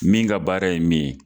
Min ka baara ye min ye